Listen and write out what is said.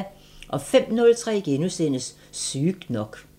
05:03: Sygt nok *